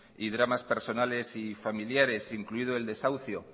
y dramas personales y familiares incluido el desahucio